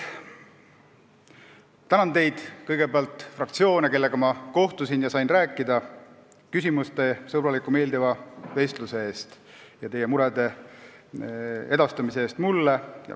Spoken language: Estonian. Tänan teid, kõigepealt fraktsioone, kellega ma kohtusin ja sain rääkida, küsimuste, sõbraliku ja meeldiva vestluse eest ja selle eest, et olete mulle oma muresid teada andnud.